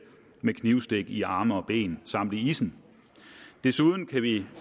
med knivstik i arme og ben samt i issen desuden kan vi